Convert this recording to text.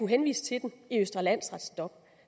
henvise til den i østre landsrets dom